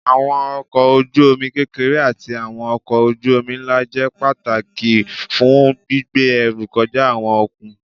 Àwọn ọkọ̀ ojú omi kékeré ati àwọn ọkọ̀ ojú omi ńlá jẹ́ pàtàkì fún gbígbé ẹrú kọjá àwọn okùn